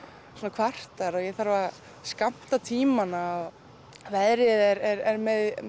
kvartar og ég þarf að skammta tímana og veðrið er